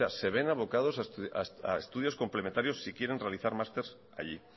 sea se ven abocados a estudios complementarios si quieren realizar másters allí